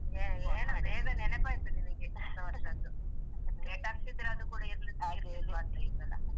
ಏನೊ ಬೇಗ ನೆನಪಾಯ್ತು ನಿನಗೆ ಹೊಸವರ್ಷದ್ದು late ಆಗ್ತಿದ್ರೆ ಅದು ಕೂಡ ಈಸಲ.